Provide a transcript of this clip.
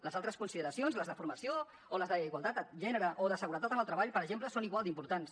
les altres consideracions les de formació o les d’igualtat de gènere o de seguretat en el treball per exemple són igual d’importants